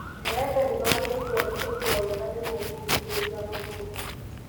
Maembe nĩmagĩrĩirwo nĩ kũigwo wega nĩguo kũgirĩria gũthũka